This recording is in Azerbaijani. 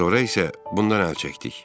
Sonra isə bundan əl çəkdik.